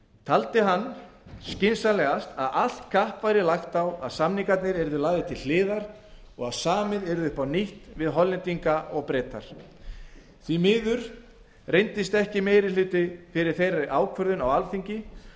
taldi hann skynsamlegast að allt kapp væri lagt á að samningarnir yrðu lagðir til hliðar og að samið yrði upp á nýtt við hollendinga og breta því miður reyndist ekki meiri hluti fyrir þeirri ákvörðun á alþingi